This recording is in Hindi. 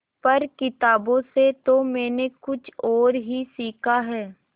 पर किताबों से तो मैंने कुछ और ही सीखा है